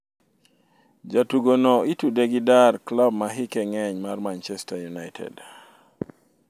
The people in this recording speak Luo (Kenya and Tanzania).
Jatugo no itude gi dar klab ma hike ng'eny mar Manchester United